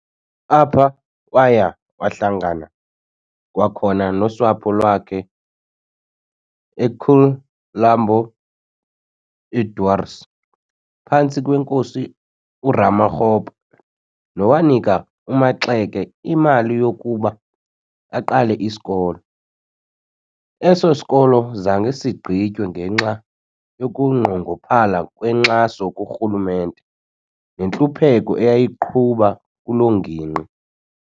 Apha, waya wahlangana kwakhona nosapho lwakhe e\kumlambo iDwaars phantsi kweNkosi uRamakgopa nowanika uMaxeke imali yokuba aqale isikolo. Eso sikolo zange sigqitywe ngenxa yokunqongophala kwenkxaso kurhulumente nentlupheko eyayigquba kulo ngingqi.